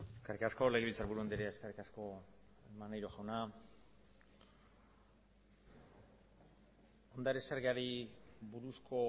eskerrik asko legebiltzarburu andrea eskerrik asko maneiro jauna ondare zergari buruzko